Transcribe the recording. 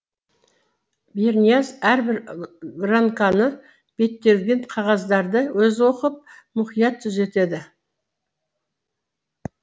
бернияз әрбір гранканы беттелген қағаздарды өзі оқып мұқият түзетеді